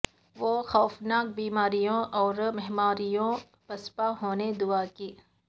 وہ خوفناک بیماریوں اور مہاماریوں پسپا ہونے دعا کی